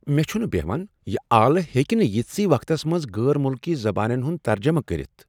مےٚ چھنہٕ بہوان! یہ آلہٕ ہیٚکہ نہٕ ییٖتسیہ وقتس منٛز غٲر مٖلکی زبانن ہٗند ترجمہٕ کٔرتھ ۔